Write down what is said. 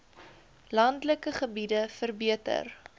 landelike gebiede verbeter